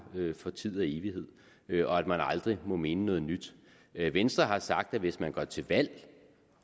for tid og evighed og at man aldrig må mene noget nyt venstre har sagt at hvis man går til valg